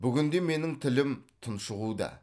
бүгінде менің тілім тұншығуда